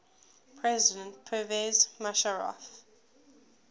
president pervez musharraf